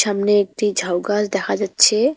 থামনে একটি ঝাউ গাছ দেখা যাচ্ছেএ।